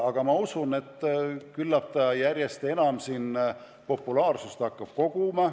Aga ma usun, et küllap see järjest enam populaarsust kogub.